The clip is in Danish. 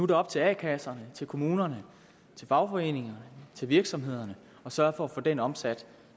det op til a kasserne kommunerne fagforeningerne og virksomhederne at sørge for at få den omsat